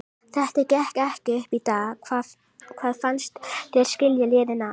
Þetta gekk ekki upp í dag, hvað fannst þér skilja liðin að?